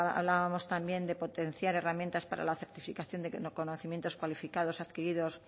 hablábamos también de potenciar herramientas para la certificación de conocimientos cualificados adquiridos